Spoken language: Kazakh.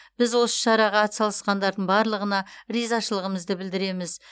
біз осы шараға атсалысқандардың барлығына ризашылығымызды білдіреміз